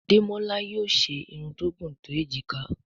Demola yóò ṣe Irun tó gún to ejika.